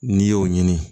N'i y'o ɲini